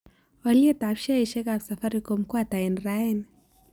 Alyetap sheaisiekap safaricom ko ata eng' raini